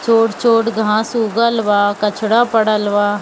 छोट-छोट घास उगल बा कचरा पड़ल बा।